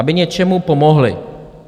Aby něčemu pomohly.